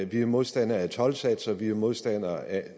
vi er modstandere af toldsatser vi er modstandere af